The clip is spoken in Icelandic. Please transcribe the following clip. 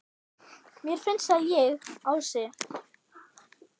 Mér finnst að ég, Ási